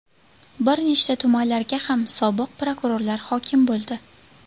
Bir nechta tumanlarga ham sobiq prokurorlar hokim bo‘ldi.